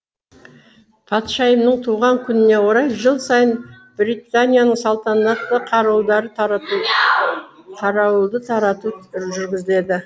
патшайымның туған күніне орай жыл сайын британияның салтанатты қарауылдары тарату қарауылды тарату жүргізіледі